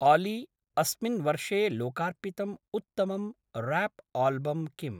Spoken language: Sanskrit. आली, अस्मिन् वर्षे लोकार्पितम् उत्तमं राप्आल्बं किम्?